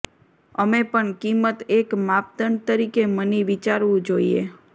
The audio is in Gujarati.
અમે પણ કિંમત એક માપદંડ તરીકે મની વિચારવું જોઈએ